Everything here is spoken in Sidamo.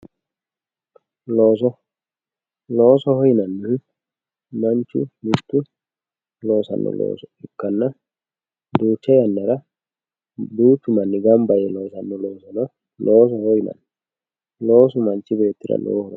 Looso, loosoho yinannihu manchu mitu loossano looso ikkanna duucha yannara duuchu manni gamba yee loossano loossono loosoho yinanni.